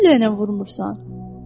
Niyə gülləylə vurmursan?